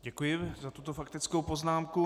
Děkuji za tuto faktickou poznámku.